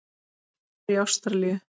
Hann lifir í Ástralíu.